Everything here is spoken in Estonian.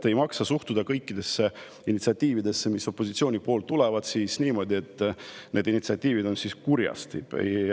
Ei maksa suhtuda kõikidesse initsiatiividesse, mis opositsioonist tulevad, niimoodi, et need on kurjast.